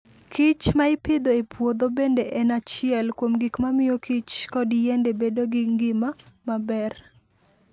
kichma ipidho e puodho bende en achiel kuom gik mamiyo kich kod yiende bedo gi ngima maber.